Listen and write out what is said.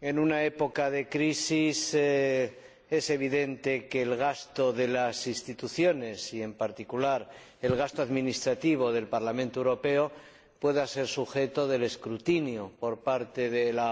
en una época de crisis es evidente que el gasto de las instituciones y, en particular, el gasto administrativo del Parlamento Europeo pueden someterse al escrutinio de la opinión pública.